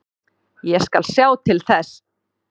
Ég skal sjá til þess.